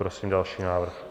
Prosím další návrh.